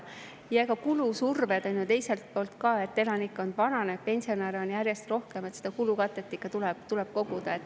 Ja kulusurve on ju mujalt ka: elanikkond vananeb, pensionäre on järjest rohkem, seda kulukatet tuleb koguda.